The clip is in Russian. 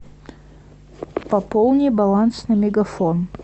пополни баланс на мегафон